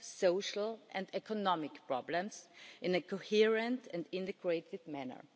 social and economic problems in a coherent and creative manner.